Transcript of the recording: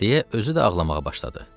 Deyə özü də ağlamağa başladı.